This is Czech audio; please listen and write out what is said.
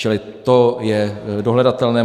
Čili to je dohledatelné.